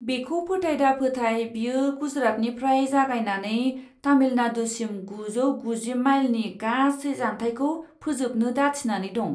बेखौ फोथाय दाफोथाय, बियो गुजरातनिफ्राय जागायनानै तामिलनाडुसिम गुजौ गुजि माइलनि गासै जानथायखौ फोजोबनो दाथिनानै दं।